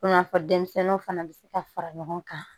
N'a fɔ denmisɛnninw fana bɛ se ka fara ɲɔgɔn kan